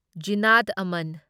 ꯓꯤꯅꯥꯠ ꯑꯃꯟ